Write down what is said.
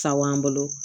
Sabanan bolo